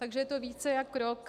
Takže je to více jak rok.